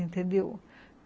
Entendeu?